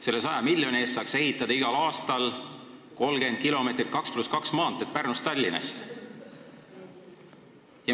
Selle raha eest me saaks igal aastal ehitada 30 kilomeetrit 2 + 2 maanteed Pärnust Tallinnasse.